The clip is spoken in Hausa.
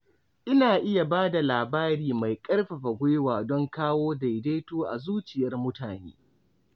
Ina iya ba da labari mai ƙarfafa gwiwa don kawo daidaito a zuciyar mutane.